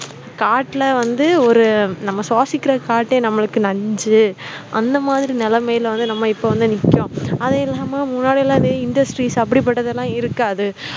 காட்டுல வந்து ஒரு நம்ம சுவாசிக்கிற காற்றே நம்மளுக்கு நஞ்சு அந்த மாதிரி நிலைமையில வந்து நம்ம இப்ப வந்து நிக்கிறோம் அது இல்லாம முன்னாடி எல்லாம் இந்த industries அப்படிப்பட்டதெல்லாம் இருக்காது